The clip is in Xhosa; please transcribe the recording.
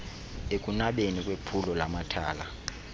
ekunabeni kwephulo lamathala